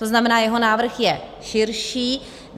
To znamená, jeho návrh je širší.